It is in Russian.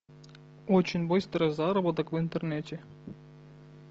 очень быстрый заработок в интернете